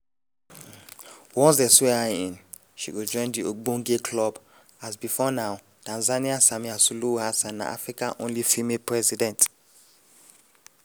once dey swear her in she go join di ogbonge club as before now tanzania samia suluhu hassan na africa only female president.